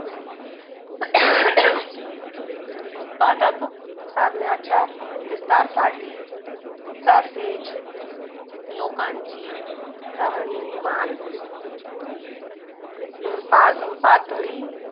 उत्पादक साधनांच्या विकारासाठी तसेच लोकांची चांगली प प पातळी